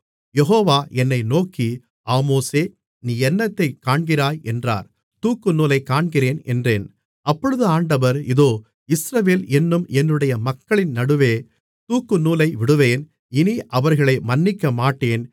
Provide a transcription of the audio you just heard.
யெகோவா என்னை நோக்கி ஆமோஸே நீ என்னத்தைக் காண்கிறாய் என்றார் தூக்குநூலைக் காண்கிறேன் என்றேன் அப்பொழுது ஆண்டவர் இதோ இஸ்ரவேல் என்னும் என்னுடைய மக்களின் நடுவே தூக்குநூலை விடுவேன் இனி அவர்களை மன்னிக்கமாட்டேன்